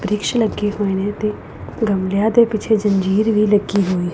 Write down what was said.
ਰਿਕਸ਼ਿਆਂ ਉੱਤੇ ਗਮਲੇ ਤੇ ਗਮਲਿਆਂ ਦੇ ਪਿੱਛੇ ਜੰਜੀਰ ਵੀ ਲੱਗੀ ਹੋਈ--